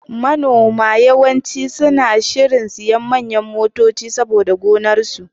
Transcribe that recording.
Manoma yawanci suna shirin siyan manyan motoci saboda gonar su.